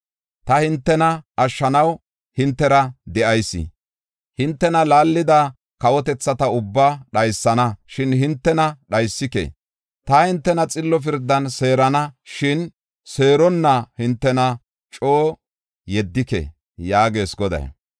Ta hintena ashshanaw hintera de7ayis. Hintena laallida kawotethata ubbaa dhaysana; shin hintena dhaysike. Ta hintena xillo pirdan seerana; shin seeronna hintena coo yeddike” yaagees Goday.